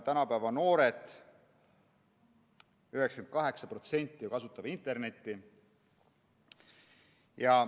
Tänapäeva noored, 98% neist, ju kasutavad internetti.